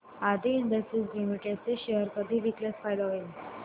आदी industries limited चे share कधी विकल्यास फायदा होईल